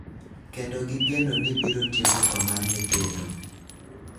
kendo gigeno ni biro tieko tho mar nyithindo